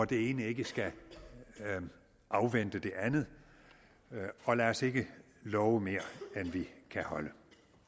det ene ikke skal afvente det andet og lad os ikke love mere end vi kan holde